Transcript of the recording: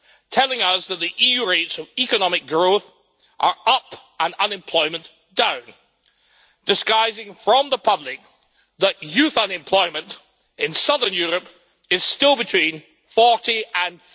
telling us that the EU rates of economic growth are up and unemployment down, disguising from the public that youth unemployment in southern Europe is still between 40 and